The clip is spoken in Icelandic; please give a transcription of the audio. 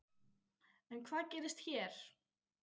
En hvað gerist hér?